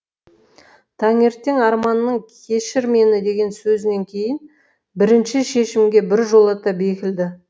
таңертең арманның кешір мені деген сөзінен кейін бірінші шешімге біржолата бекіді